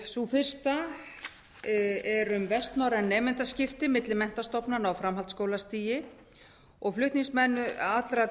sú fyrsta er um vestnorræn nemendaskipti milli menntastofnana á framhaldsskólastigi flutningsmenn allra